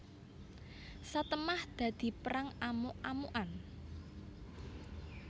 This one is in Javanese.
Satemah dadi perang amuk amukan